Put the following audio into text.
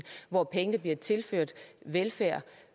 hvor pengene bliver tilført velfærd